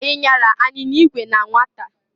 I nyara anyinya igwe na nwata?